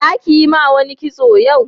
za ki Yi ma wani kitson yau?